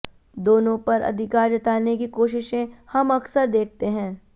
दोनों पर अधिकार जताने की कोशिशें हम अकसर देखते हैं